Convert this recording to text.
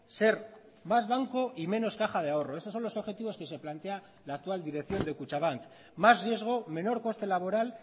ser más banco y menos caja de ahorro eso son los objetivos que se plantea la actual dirección de kutxabank más riesgo menor coste laboral